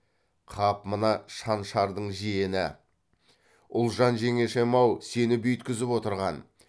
қап мына шаншардың жиені ұлжан жеңешем ау сені бүйткізіп отырған